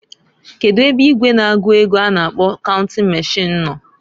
Kedu ebe igwe na-agụ ego a na-akpo counting machine no?